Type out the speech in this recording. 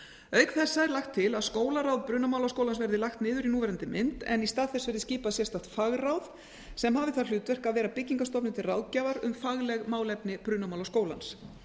auk þessa er lagt til að skólaráð brunamálaskólans verði lagt niður í núverandi mynd en í stað þess verði skipað sérstakt fagráð sem hafi það hlutverk að vera byggingarstofnun til ráðgjafar um fagleg málefni brunamálaskólans